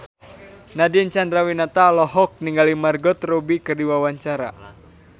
Nadine Chandrawinata olohok ningali Margot Robbie keur diwawancara